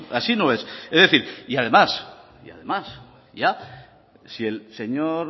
así no es es decir y además y además ya si el señor